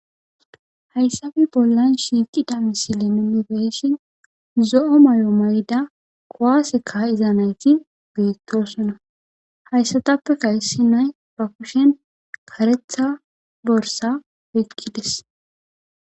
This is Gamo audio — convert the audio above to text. Hayssabe bollan shiiqida misile ninibeshin zo7o may7o may7da qowaase ka iza nayti beettosona hayssatappe kaysi nay profushen karetha borsa wokkides.